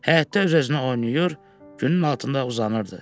Həyətdə öz-özünə oynayır, günün altında uzanırdı.